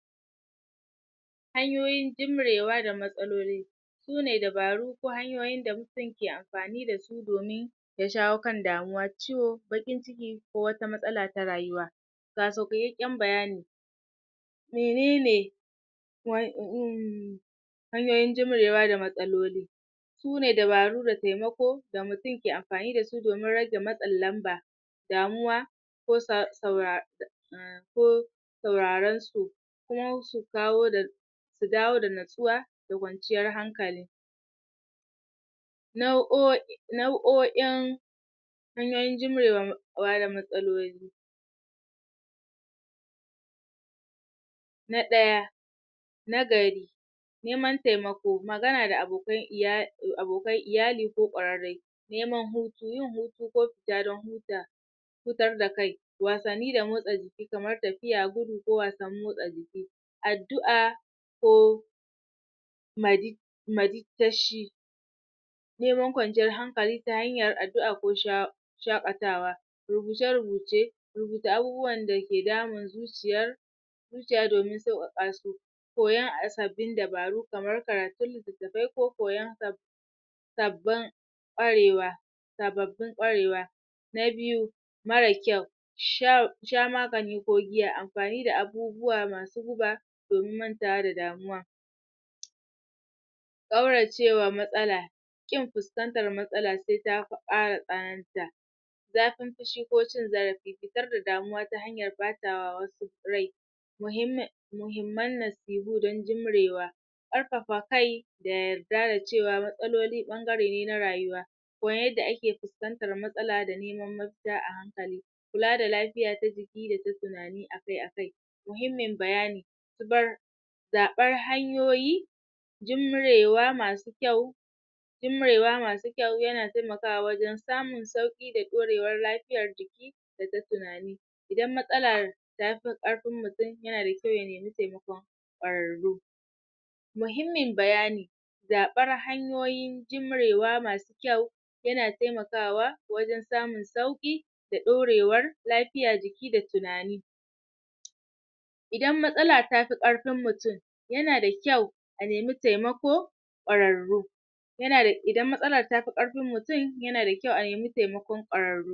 hanyoyin jimrewa da matsaloli sune dabaru ko hanyoyin da mutum ke amfani da su domin ya shawo kan damuwa, ciwo, baƙin ciki ko wata matsala ta rayuwa ga sauƙaƙƙen bayani menene um hanyoyin jimrewa da matsaloli sune dabaru da temako da mutum ke amfani da su domin rage matsin lamba damuwa ko ko sauraron su su kawo da su dawo da natsuwa da kwanciyar hankali nau'o nau'o'in hanyoyin jimrewa da matsaloli na ɗaya na gari neman temako, magana da abokan iyali ko temako neman hutu, yin hutu ko fita don huta hutar da kai wasanni da motsa jiki kamar tafiya, gudu ko wasan motsa jiki addu'a ko neman kwanciyar hankali ta hanyar addu'a ko shaƙatawa rubuce-rubuce rubuta abubuwan dake damun zuciyar zuciya domin sauƙaƙa su koyan sabbin dabaru kamar karatun littattafai ko koyon sabbin ƙwarewa sababbin ƙwarewa na biyu marar kyau sha magani ko giya amfani da abubuwa masu buga domin mantawa da damuwa ƙaurace wa matsala ƙin fuskantar matsala se ta ƙara tsananta zafin fushi ko cin zarafi fitar da damuwa ta hanyar bata wa wasu rai muhimmin muhimman nasihu don jimrewa ƙarfafa kai da yarda da cewa matsaloli ɓangare ne na rayuwa koyar yadda ake fiskantar matsala da neman mafita a hankali kula da lafiya ta jiki da ta tunani akai-akai muhimmin bayani zaɓar hanyoyi jimrewa masu kyau jimrewa masu kyau yana temakawa wajen samun sauƙi da ɗaurewar lafiyar jiki da ta tunani idan matsalar ta fi ƙarfin mutum yana da kyau ya nemi temakon ƙwararru muhimmin bayani zaɓar hanyoyi jimrewa masu kyau yana temakawa wajen samun sauƙi da ƙorewar lafiya jiki da tunani idan matsala tafi ƙarfin mutum yana da kyau a nemi tamako ƙwararru um idan matsala ta fi ƙarfin mutum yana da kyau a nemi temakon ƙwararru